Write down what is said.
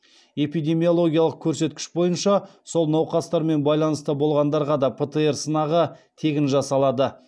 эпидемиологиялық көрсеткіш бойынша сол науқастармен байланыста болғандарға да птр сынағы тегін жасалады